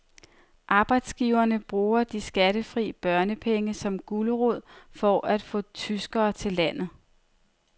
Arbejdsgiverne bruger de skattefri børnepenge som gulerod for at få tyskere til landet.